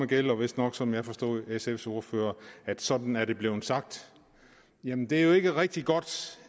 gælder vistnok som jeg forstod for sfs ordfører at sådan er det blevet sagt jamen det er jo ikke rigtig godt